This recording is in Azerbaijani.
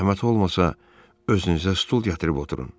Zəhmət olmasa, özünüzə stul gətirib oturun.